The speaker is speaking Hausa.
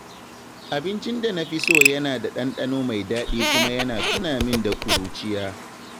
Abincin da na fi so yana da ɗanɗano mai daɗi kuma yana tuna min da ƙuruciya.